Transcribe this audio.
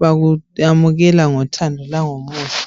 bakuyamukela ngothando langomusa